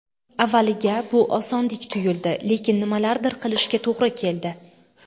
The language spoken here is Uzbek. Avvaliga bu osondek tuyuldi, lekin nimalardir qilishga to‘g‘ri keldi.